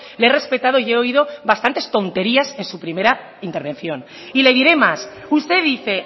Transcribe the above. le he respetado y he oído bastantes tonterías en su primera intervención y le diré más usted dice